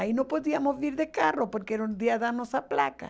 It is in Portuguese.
Aí não podíamos vir de carro, porque era um dia da nossa placa.